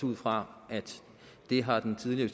ud fra at det har den tidligere